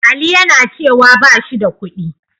Ali yana cewa ba shi da kuɗi.